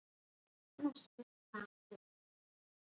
Hann var á síðum vaðmálskyrtli og hafði á höfði húfu með eyrnaskjólum.